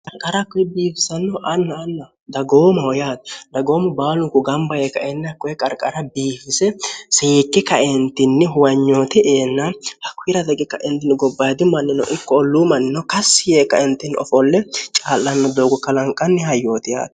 qarqar kkoe biifisannoho anna anna dagoomoho yaati dagoomo baalunku gamba yee kaennhkkoe qarqara biihise siyikki kaentinni huwanyooti eenna hakkuhira dagi kaentinni gobbaidi mannino ikko olluu mannino kassi yee kaentinni ofolle caa'lanno doogo kalanqanni hayyooti yaati